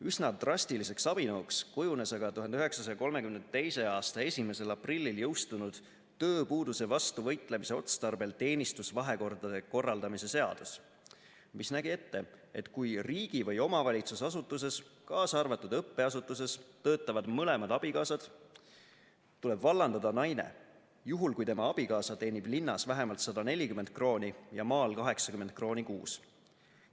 Üsna drastiliseks abinõuks kujunes aga 1932. aasta 1. aprillil jõustunud tööpuuduse vastu võitlemise otstarbel teenistusvahekordade korraldamise seadus, mis nägi ette, et kui riigi- või omavalitsusasutuses, kaasa arvatud õppeasutuses, töötavad mõlemad abikaasad, tuleb vallandada naine, juhul kui tema abikaasa teenib linnas vähemalt 140 krooni ja maal 80 krooni kuus.